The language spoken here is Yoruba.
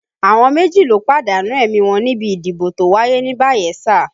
Àwọn méjì ló pàdánù ẹ̀mí wọn níbi ìdìbò tó wáyé ní Bayelsa